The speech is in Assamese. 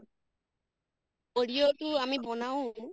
audio তো আমি বনাওঁ